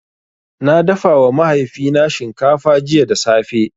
Na dafawa mahaifina shinkafa jiya da safe.